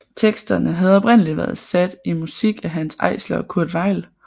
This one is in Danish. Teksterne havde oprindelig været sat i musik af Hanns Eisler og Kurt Weill